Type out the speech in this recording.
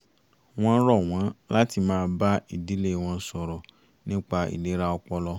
wọ́n rọ̀ wọ́n láti máa bá ìdílé wọn sọ̀rọ̀ nípa ìlera ọpọlọ